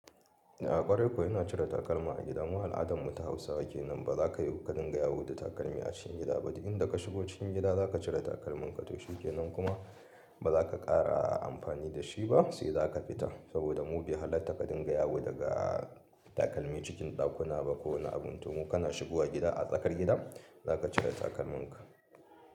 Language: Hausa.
A ƙwarai kuwa yana cire takalma a gida. Mu al'adan mu ta Hausawa ke nan ba za ka yi ka dinga yawo da takalmi a cikin gida ba. Duk inda ka shigo cikin gida za ka cire takalmanka to shi kenan kuma ba za ka ƙara amfani da shi ba sai za ka fita. Saboda mu bai hallar ta kadinga yawo daga takalmi cikin ɗakuna ba ko wani abin. To mu kana shigowa gida a tsakar gida za ka cire takalmanka.